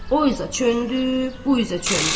O üzə çöndü, bu üzə çöndü.